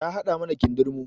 Ta haɗa mana kindirmo